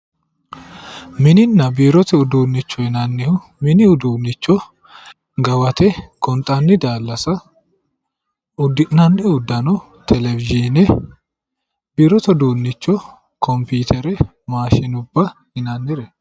mininna biirote uduunnicho yinannihu gawate gonxanni daallasa uddi'nanni uddano telewizhine biirote uduunnicho kompiitere maashinubba yinannireeti.